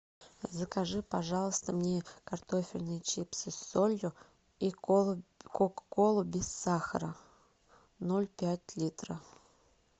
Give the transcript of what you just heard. закажи пожалуйста мне картофельные чипсы с солью и кока колу без сахара ноль пять литра